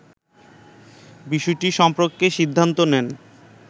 বিষয়টি সম্পর্কে সিদ্ধান্ত নেন